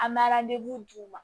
An bɛ d'u ma